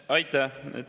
Aitäh!